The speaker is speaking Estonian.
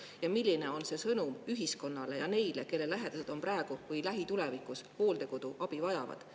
Ja milline on see sõnum ühiskonnale ja neile, kelle lähedased on praegu või lähitulevikus hooldekoduabi vajavad.